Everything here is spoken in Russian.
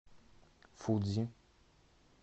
фудзи